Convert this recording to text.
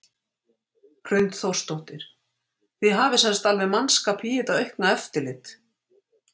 Hrund Þórsdóttir: Þið hafið sem sagt alveg mannskap í þetta aukna eftirlit?